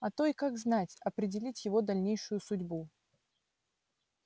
а то и как знать определить его дальнейшую судьбу